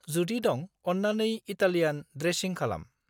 जुदि दं, अन्नानै इटालियान द्रेसिं खालाम।